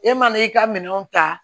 E mana i ka minɛnw ta